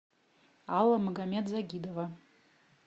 алла магомед загидова